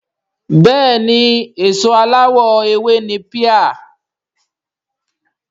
Bẹ́ẹ̀ni èso aláwọ̀ ewé ni píà